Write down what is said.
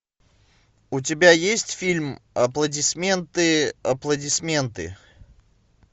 у тебя есть фильм аплодисменты аплодисменты